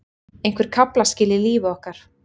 Einhver kaflaskil í lífi okkar.